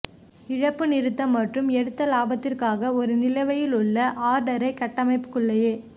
இழப்பு நிறுத்தக் மற்றும் எடுத்து இலாபத்திற்காக ஒரு நிலுவையிலுள்ள ஆர்டரை கட்டமைப்புக்குள்ளேயே